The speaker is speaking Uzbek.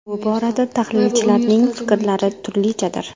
Bu borada tahlilchilarning fikrlari turlichadir.